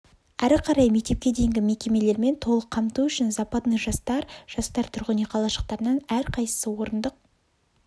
ары қарай мектепке дейінгі мекемелермен толық қамту үшін западный жастар жастар тұрғын үй қалашықтарынан әрқайсысы орындық